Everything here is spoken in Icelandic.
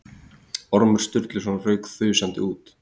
Ormur Sturluson rauk þusandi út.